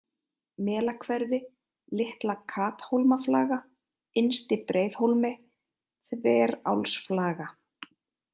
Melahverfi, Litla-Kathólmaflaga, Innsti-Breiðhólmi, Þverálsflaga